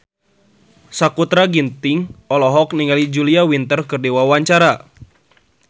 Sakutra Ginting olohok ningali Julia Winter keur diwawancara